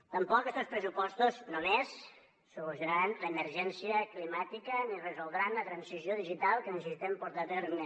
tampoc estos pressupostos només solucionaran l’emergència climàtica ni resoldran la transició digital que necessitem portar a terme